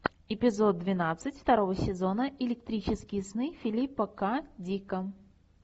эпизод двенадцать второго сезона электрические сны филипа к дика